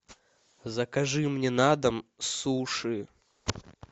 закажи мне на дом суши